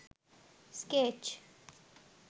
sketch